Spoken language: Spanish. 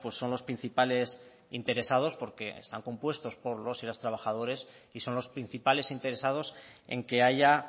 son los principales interesados porque están compuestos por los y las trabajadoras y son los principales interesados en que haya